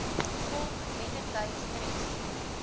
volk mettertyd tref